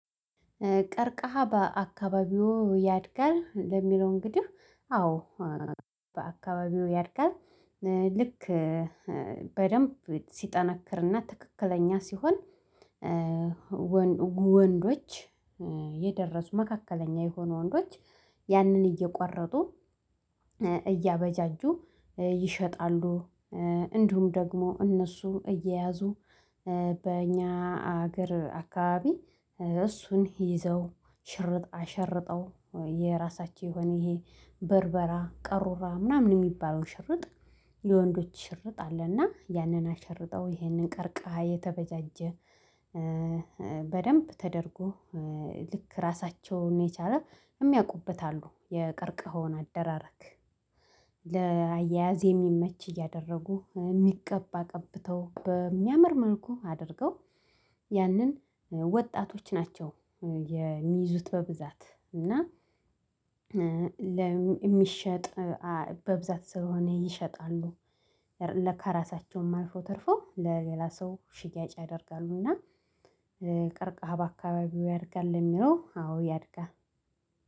ቀርቀሃ በአካባቢዎ ያድጋል? ለሚለው እንግዲህ አዎ በአካባቢው ያድጋል። ልክ በደንብ ሲጠነክርና ትክክለኛ ሲሆን ወንዶች የደረሱ መካከለኛ የሆኑ ወንዶች ያንን እየቋረጡ እያበጃጁ ይሸጣሉ እንዲሁም ደግሞ እነሱ እየያዙ በእኛ አገር አካባቢ እሱን ይዘው ሽርጥ አሸርጠው የራሳቸው የሆነ ይሄ በርበራ ቀሩራ ምናምን የሚባለው ሽርጥ የወንዶች ሽርጥ አለና ያንን አሸርጠው ይሄንን ቀርቀሃ የተበጃጀ በደንብ ተደርጎ ልክ ራሳቸውን የቻለ የሚያውቁበት አሉ የቀርቀኸውን አደራረግ ለአያያዝ የሚመች እያደረጉ የሚቀባ ቀብተው በሚያምር መልኩ አድርገው ያንን ወጣቶች ናቸው የሚይዙት በብዛት እና ለሚ የሚሸጥ በብዛት ስለሆነ ይሸጣሉ ለከራሳቸውም አልፎ ተርፎ ለሌላ ሰው ሽያጭ ያደርጋሉና ቀርቀሃ በአካባቢው ያደርጋል የሚለው አዎ ያድጋል